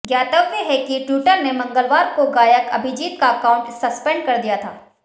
ज्ञातव्य है कि ट्विटर ने मंगलवार को गायक अभिजीत का अकाउंट सस्पेंड कर दिया था